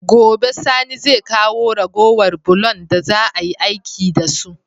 Gobe sani zai kawo ragowar bulon da za ayi aiki da su